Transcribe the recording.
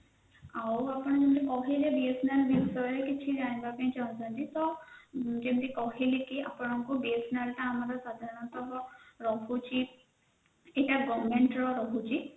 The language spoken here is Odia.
ଆଉ ଆପଣ ଯଦି BSNL ବିଷୟରେ କିଛି ଜାଣିବାପାଇଁ ଚାହୁଛନ୍ତି ତ ଯେମିତି କହିଲେ କି ଆପଣଙ୍କୁ BSNL ଆମର ସାଧାରଣତଃ ରହୁଛି ଏଇଟା government ର ରହୁଛି